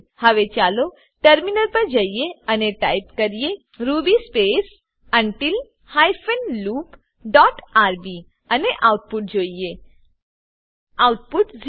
હવે ચાલો ટર્મિનલ પર જઈએ અને ટાઈપ કરીએ Ruby space until hyphen loop dot RB Ruby space until hyphen loop dot RB અને આઉટપુટ જોઈએ